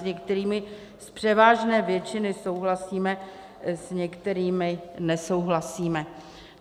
S některými z převážné většiny souhlasíme, s některými nesouhlasíme.